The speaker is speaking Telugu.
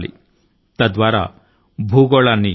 విదేశీయులు దానిని సులభం గా అర్ధం చేసుకోగలుగుతారు